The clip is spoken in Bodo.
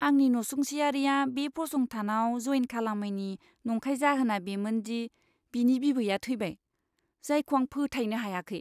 आंनि नसुंसेयारिआ बे फसंथानाव जइन खालामैनि नंखाय जाहोना बेमोन दि बिनि बिबैया थैबाय, जायखौ आं फोथायनो हायाखै!